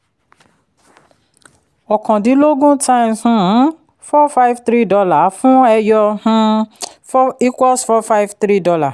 ọ̀kàndínlógún time um four five three dollar fún ẹyọ four equals four five three dollar